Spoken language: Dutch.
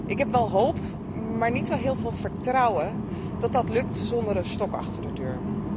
Ik heb wel hoop, maar niet zo heel veel vertrouwen dat dit lukt zonder een stok achter de deur.